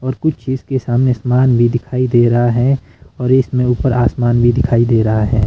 और कुछ चीज के सामने समान भी दिखाई दे रहा है और इसमें ऊपर आसमान भी दिखाई दे रहा है।